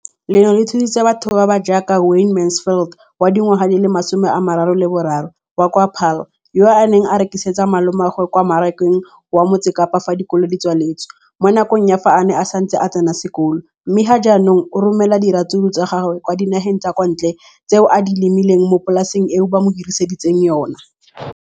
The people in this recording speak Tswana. leno le thusitse batho ba ba jaaka Wayne Mansfield, 33, wa kwa Paarl, yo a neng a rekisetsa malomagwe kwa Marakeng wa Motsekapa fa dikolo di tswaletse, mo nakong ya fa a ne a santse a tsena sekolo, mme ga jaanong o romela diratsuru tsa gagwe kwa dinageng tsa kwa ntle tseo a di lemileng mo polaseng eo ba mo hiriseditseng yona.